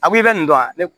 A ko i bɛ nin dɔn yan ne